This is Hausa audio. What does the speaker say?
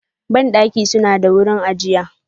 Bandaki suna da wurin ajiya.